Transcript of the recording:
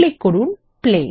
click করুন play